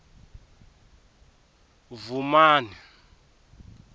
vhumani